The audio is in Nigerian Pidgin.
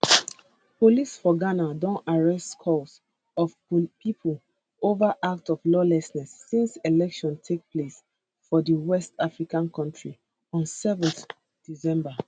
police for ghana don arrest scores of pipo ova act of lawlessness since elections take place for di west african kontri on 7 december